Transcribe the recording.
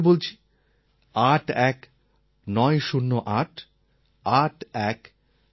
আমি আবার বলছি 81908 81908